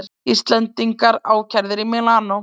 Íslendingar ákærðir í Mílanó